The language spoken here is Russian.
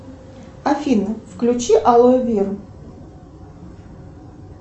афина включи алоэ веру